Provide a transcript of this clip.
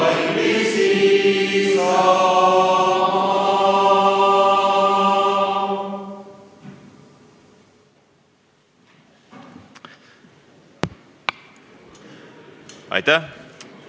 Aitäh!